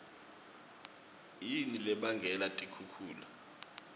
yini lebangela tikhukhula